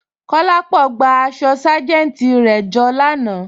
Kolápọ̀ gbà àṣọ sájẹntì rẹ jọ lànà.